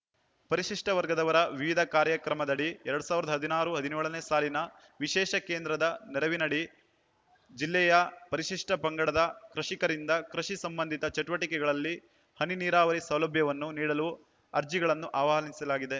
ಪರಿಶಿಷ್ಟವರ್ಗದವರ ವಿವಿಧ ಕಾರ್ಯಕ್ರಮದಡಿ ಎರಡ್ ಸಾವಿರದ ಹದಿನಾರು ಹದಿನೇಳ ನೇ ಸಾಲಿನ ವಿಶೇಷ ಕೇಂದ್ರದ ನೆರವಿನಡಿಯಲ್ಲಿ ಜಿಲ್ಲೆಯ ಪರಿಶಿಷ್ಟಪಂಗಡದ ಕೃಷಿಕರಿಂದ ಕೃಷಿ ಸಂಬಂಧಿತ ಚಟುವಟಿಕೆಗಳಲ್ಲಿ ಹನಿ ನೀರಾವರಿ ಸೌಲಭ್ಯವನ್ನು ನೀಡಲು ಅರ್ಜಿಗಳನ್ನು ಆಹ್ವಾನಿಸಲಾಗಿದೆ